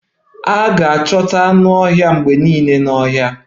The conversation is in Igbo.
A ga-achọta anụ ọhịa mgbe niile n'ọhịa